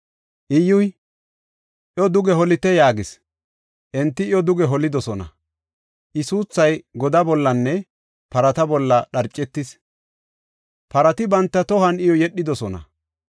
Iyyuy, “Iyo duge holite” yaagis. Enti iyo duge holidosona. I suuthay godaa bollanne parata bolla dharcetis; parati banta tohuwan iyo yedhidosona.